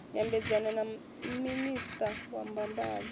nyambedzano na minista wa mbambadzo